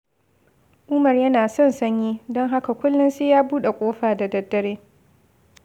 Umar yana son sanyi, don haka kullum sai ya buɗe ƙofa da daddare.